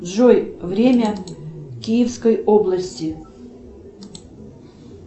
джой время киевской области